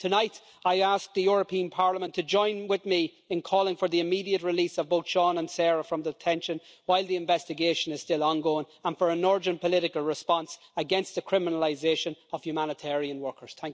Tonight I ask the European Parliament to join with me in calling for the immediate release of both Sean and Sarah from detention while the investigation is still ongoing, and for an urgent political response against the criminalisation of humanitarian workers.